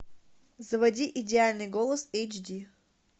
заводи идеальный голос эйч ди